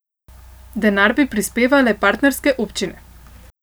Denar bi prispevale partnerske občine.